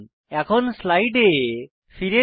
এখন স্লাইডে ফিরে যাই